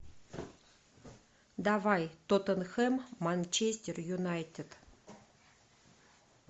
давай тоттенхэм манчестер юнайтед